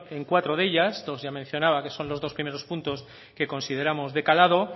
en cuatro de ellas dos ya mencionadas que son los dos primeros puntos que consideramos de calado